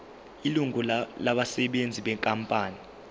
ilungu labasebenzi benkampani